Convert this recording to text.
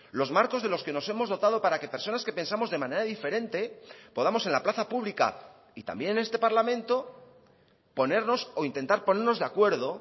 los marcos de los que nos hemos dotado para que personas que pensamos de manera diferente podamos en la plaza pública y también en este parlamento ponernos o intentar ponernos de acuerdo